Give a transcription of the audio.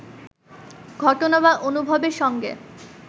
ঘটনা বা অনুভবের সঙ্গে